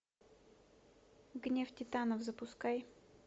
гнев титанов запускай